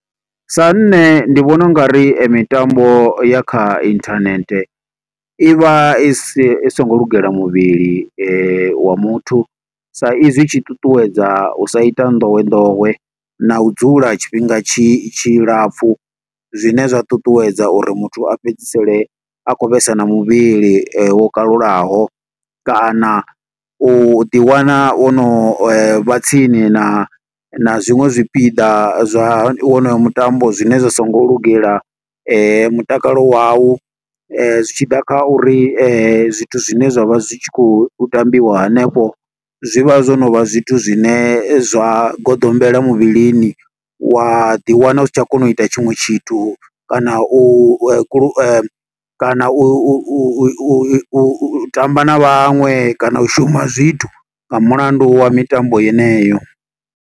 Sa nṋe ndi vhona ungari mitambo ya kha internet, i vha i si, i songo lugela muvhili wa muthu. Sa izwi i tshi ṱuṱuwedza u sa ita nḓowenḓowe na u dzula tshifhinga tshi tshilapfu, zwine zwa ṱuṱuwedza uri muthu a fhedzisele a khou vhesa na muvhili wo kalulaho. Kana u ḓi wana wo no vha tsini na na zwiṅwe zwipiḓa zwa wonoyo mutambo zwine zwi so ngo lugela mutakalo wau. Zwi tshi ḓa kha uri zwithu zwine zwa vha zwi tshi khou tambiwa hanefho, zwi vha zwo no vha zwithu zwine zwa goḓombela muvhilini. Wa ḓi wana u si tsha kona u ita a tshiṅwe tshithu, kana u kulu, kana u tamba na vhaṅwe kana u shuma zwithu, nga mulandu wa mitambo yeneyo.